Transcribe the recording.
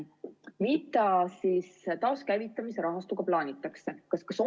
Mida siis taaskäivitamise rahastuga plaanitakse?